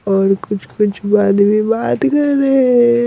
और कुछ कुछ आदमी बात कर रहे हैं।